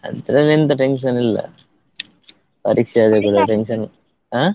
ಅಂತದೆಲ್ಲ ಎಂತ tension ಇಲ್ಲ ಪರೀಕ್ಷೆ tension ಹಾ.